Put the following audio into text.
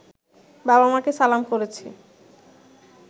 বাবা-মাকে সালাম করেছি